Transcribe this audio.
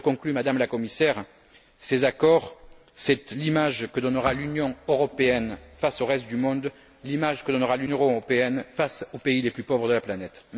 En conclusion, Madame la Commissaire, ces accords sont l'image que donnera l'Union européenne face au reste du monde, l'image que donnera l'Union européenne face aux pays les plus pauvres de la planète.